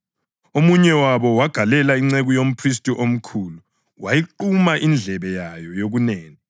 Omunye wabo wayigalela inceku yomphristi omkhulu, wayiquma indlebe yayo yokunene.